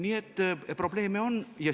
Nii et probleeme on.